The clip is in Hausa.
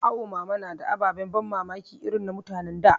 Awo mama na da ababen ban mamaki irin na mutan da